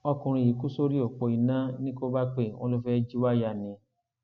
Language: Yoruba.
ọkùnrin yìí kú sórí òpó iná ní kóbápè wọn ló fẹẹ jí wáyà ni